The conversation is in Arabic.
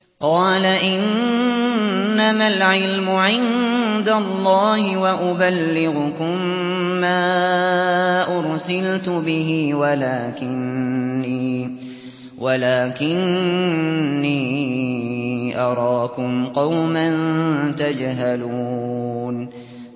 قَالَ إِنَّمَا الْعِلْمُ عِندَ اللَّهِ وَأُبَلِّغُكُم مَّا أُرْسِلْتُ بِهِ وَلَٰكِنِّي أَرَاكُمْ قَوْمًا تَجْهَلُونَ